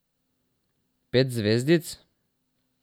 Pet zvezdic?